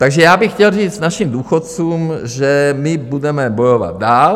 Takže já bych chtěl říct našim důchodcům, že my budeme bojovat dál.